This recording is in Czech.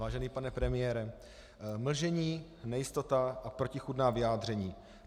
Vážený pane premiére, mlžení, nejistota a protichůdná vyjádření.